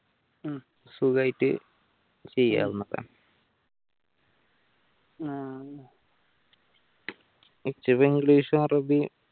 സുഖയിട്ട് ചെയ്യാവുന്നത english ഉ അറബിയു